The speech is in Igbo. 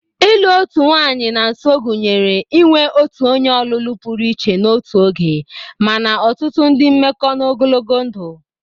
Ịlụ otu nwanyị na nso gụnyere inwe otu onye ọlụlụ pụrụ iche n'otu oge, mana ọtụtụ ndị mmekọ n'ogologo ndụ.